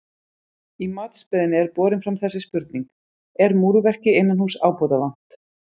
Í matsbeiðni er borin fram þessi spurning: Er múrverki innanhúss ábótavant?